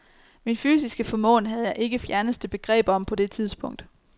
Min fysiske formåen havde jeg ikke fjerneste begreb om på det tidspunkt.